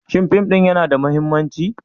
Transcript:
Shin fim ɗin yana da mahimmanci?